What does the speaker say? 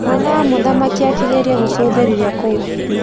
Mwana wa mũthamaki akĩgeria kũcũthĩrĩria kũu.